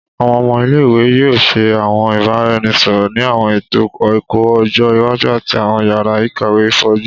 Awọn ọmọ ile-iwe yoo ṣe awọn ibaraẹnisọrọ ni awọn eto ẹkọ ọjọ iwaju ati awọn yara ikawe foju